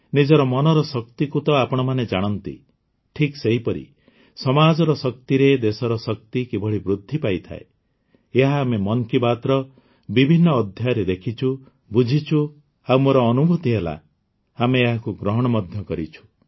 ନିଜର ମନର ଶକ୍ତିକୁ ତ ଆପଣମାନେ ଜାଣନ୍ତି ଠିକ ସେହିପରି ସମାଜର ଶକ୍ତିରେ ଦେଶର ଶକ୍ତି କିଭଳି ବୃଦ୍ଧି ପାଇଥାଏ ଏହା ଆମେ ମନ୍ କି ବାତ୍ର ବିଭିନ୍ନ ଅଧ୍ୟାୟରେ ଦେଖିଛୁ ବୁଝିଛୁ ଆଉ ମୋର ଅନୁଭୂତି ହେଲା ଆମେ ଏହାକୁ ଗ୍ରହଣ ମଧ୍ୟ କରିଛୁ